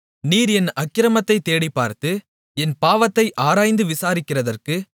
நீர் என் அக்கிரமத்தைத் தேடிப்பார்த்து என் பாவத்தை ஆராய்ந்து விசாரிக்கிறதற்கு